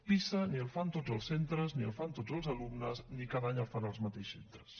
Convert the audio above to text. pisa ni el fan tots els centres ni el fan tots els alumnes ni cada any el fan els mateixos centres